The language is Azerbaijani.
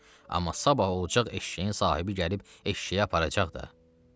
Amma sabah olacaq eşşəyin sahibi gəlib eşşəyi aparacaq da.